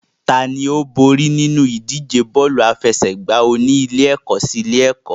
Tani ó borí nínú ìdíje bọ́ọ̀lù aláfẹsẹ̀gbá oní ilé-ẹ̀kọ́ sí ilé-ẹ̀kọ́?